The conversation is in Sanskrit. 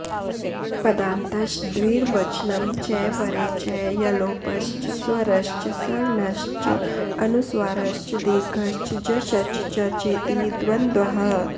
पदान्तश्च द्विर्वचनं च वरे च यलोपश्च स्वरश्च सवर्णश्च अनुस्वारश्च दीर्घश्च जश्च चर्चेति द्वन्द्वः